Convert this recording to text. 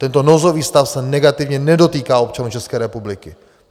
Tento nouzový stav se negativně nedotýká občanů České republiky.